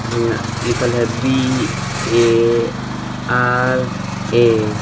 यहां लिखल है बी ए आर ए ।